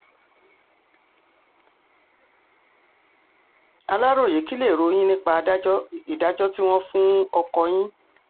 aláròye kí lèrò yín nípa ìdájọ́ tí wọ́n fún ọkọ yín